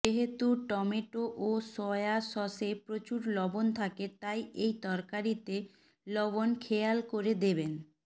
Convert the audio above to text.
যেহেতু টোমেটো ও সয়া সসে প্রচুর লবণ থাকে তাই এই তরকারিতে লবণ খেয়াল করে দেবেন